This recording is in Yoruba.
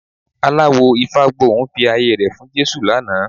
Aláwò Ifágbohùn fi ayé rẹ̀ fún Jésù lánàá